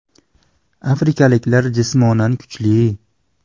Afrikaliklar jismonan kuchli.